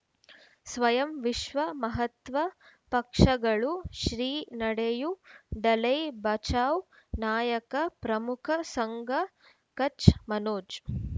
ಸ್ವಯಂ ವಿಶ್ವ ಮಹಾತ್ಮ ಪಕ್ಷಗಳು ಶ್ರೀ ನಡೆಯೂ ದಲೈ ಬಚೌ ನಾಯಕ ಪ್ರಮುಖ ಸಂಘ ಕಚ್ ಮನೋಜ್